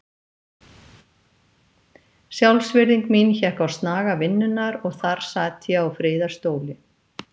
Sjálfsvirðing mín hékk á snaga vinnunnar og þar sat ég á friðarstóli.